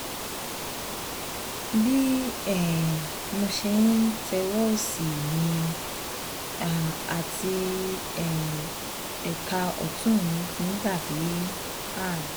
bí um mo ṣe ń tẹ̀wé ọwọ́ òsì mi um àti um ẹ̀ka ọ̀tún mi ti dà bí ààrùn